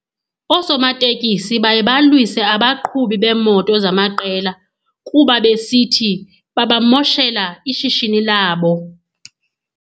Oosomatekisi baye balwise abaqhubi beemoto zamaqela kuba besithi babamoshela ishishini labo.